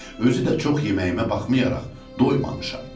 Özü də çox yeməyimə baxmayaraq doymamışam.